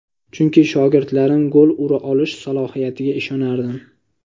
Chunki shogirdlarim gol ura olish salohiyatiga ishonardim.